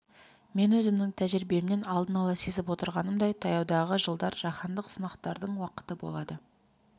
мен өзімнің тәжірибемнен алдын ала сезіп отырғанымдай таяудағы жылдар жаһандық сынақтардың уақыты болады